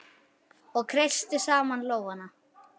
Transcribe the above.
Og ég kreisti saman lófana.